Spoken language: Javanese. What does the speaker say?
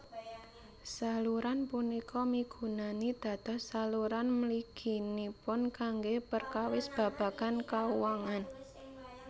Saluran punika migunani dados saluran mliginipun kanggé perkawis babagan kauwangan